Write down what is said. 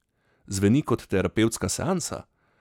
Zveni kot terapevtska seansa?